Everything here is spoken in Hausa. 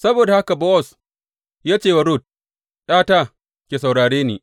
Saboda haka Bowaz ya ce wa Rut, ’Yata, ki saurare ni.